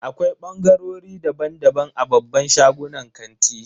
Akwai bangarori daban-daban a babban shagunan kanti.